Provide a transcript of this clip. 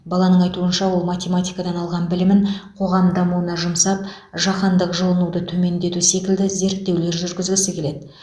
баланың айтуынша ол математикадан алған білімін қоғам дамуына жұмсап жаһандық жылынуды төмендету секілді зерттеулер жүргізгісі келеді